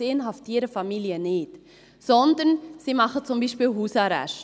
Sie inhaftieren Familien nicht, sondern sie machen beispielsweise Hausarrest.